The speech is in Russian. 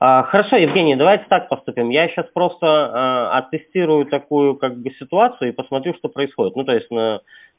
а хорошо евгений давайте так поступим я сейчас просто оттестирую такую как бы ситуацию и посмотрю что происходит ну то есть